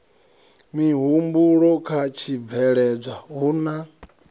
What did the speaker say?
mihumbulo kha tshibveledzwa hu na